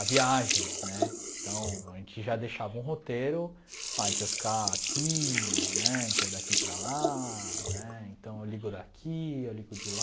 a viagem, né, então a gente já deixava um roteiro, a gente vai ficar aqui, né, a gente vai daqui para lá, né, então eu ligo daqui, eu ligo de lá,